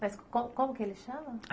Mas como como que ele chama?